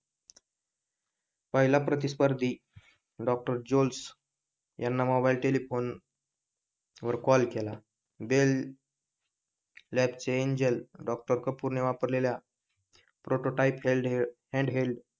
पहिला प्रतिस्पर्धी डॉक्टर जोस याना मोबाइल टेलिफोन वर कॉल केला बेल लॅब च्या एंजल डॉक्टर कपूर ने वापरलेल्या प्रोटोटाइप हॅन्ड हेल्ड,